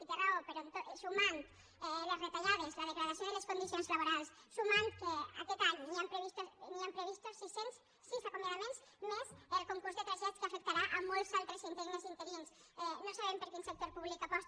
i té raó però sumant les retallades la degradació de les condicions laborals sumant que aquest any hi han previstos sis cents i sis acomiadaments més el concurs de trasllats que afectarà molts altres interines i interins no sabem per quin sector públic aposta